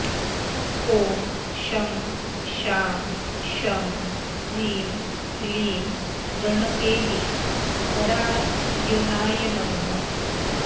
ॐ शं शां षं ह्रीं क्लीं गणकेलीपरायणाय नमः